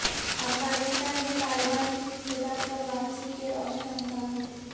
افغانستان میں طالبان کی اقتدار پر واپسی کے روشن امکانات